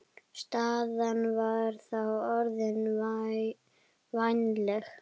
Staðan var þá orðin vænleg.